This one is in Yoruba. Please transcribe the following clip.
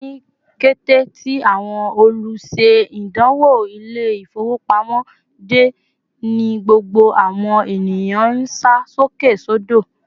Ni kété tí àwọn oluse-idanwo Ilé-ifowopamo de, ní gbogbo àwọn ènìyàn nsa sókè sodo